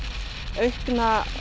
aukna